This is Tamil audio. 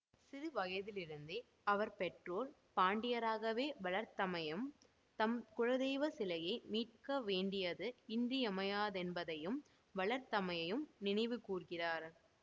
சிறுவயதிலிருந்தே அவர் பெற்றோர் பாண்டியராகவே வளர்த்தமையும் தம் குலதெய்வ சிலையை மீட்க வேண்டியது இன்றியமையாததென்பதையும் வளர்த்தமையையும் நினைவுகூர்கிறார்